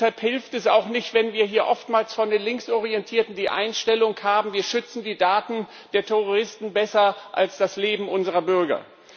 Deshalb hilft es auch nicht, wenn wir hier oftmals von den Linksorientierten die Einstellung haben Wir schützen die Daten der Terroristen besser als das Leben unserer Bürger.